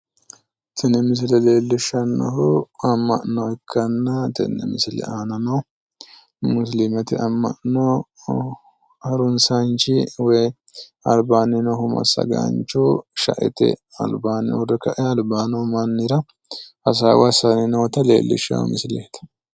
Tini misile leellishshannohu amma'no ikkanna, tini misileno aanano musilimete amma'no harunsaanchi woy albaanni noohu massagaanchohu shaete albaa uurre kae alba no mannira hasaawa assanni noota leellishaawo misileeti